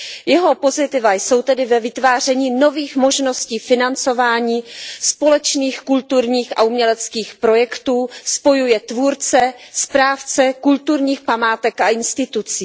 Jeho pozitiva jsou tedy ve vytváření nových možností financování společných kulturních a uměleckých projektů, spojuje tvůrce, správce kulturních památek a institucí.